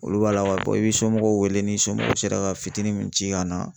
Olu b'a la i bi somɔgɔw weele ni somɔgɔw sera ka fitinin min ci ka na